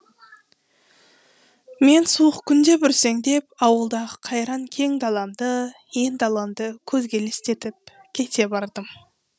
мен суық күнде бүрсеңдеп ауылдағы қайран кең даламды ен даламды көзге елестетіп кете бардым